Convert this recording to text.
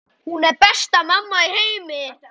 Hún er besta mamma í heimi.